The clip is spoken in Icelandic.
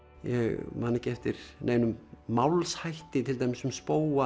ég man ekki eftir neinum málshætti til dæmis um